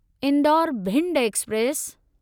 Indore Bhind express